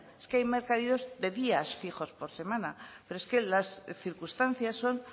es que hay mercadillos de días fijos por semana pero es que las circunstancias son